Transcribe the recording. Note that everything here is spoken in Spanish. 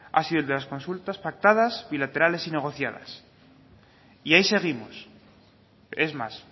ha sido el de las consultas pactadas bilaterales y negociadas y ahí seguimos es más